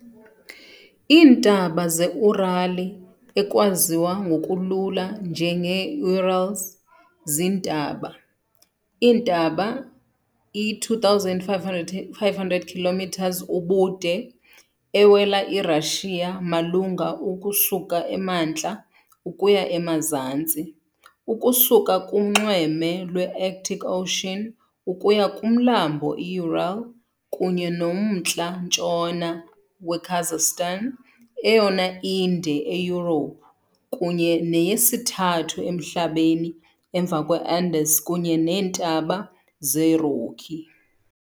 Iintaba zeUràli ekwaziwa ngokulula njengeeUrals, ziintaba. Iintaba, i-2,500 km ubude, ewela iRashiya malunga ukusuka emantla ukuya emazantsi, ukusuka kunxweme lwe -Arctic Ocean ukuya kuMlambo i-Ural kunye nomntla-ntshona weKazakhstan, eyona inde eYurophu kunye neyesithathu emhlabeni emva kweAndes kunye neeNtaba zeRocky.